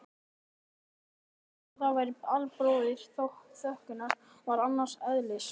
En þótt það væri albróðir þokunnar var það annars eðlis.